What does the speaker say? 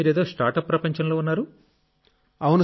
ప్రస్తుతం మీరేదో స్టార్టప్ ప్రపంచంలో ఉన్నారు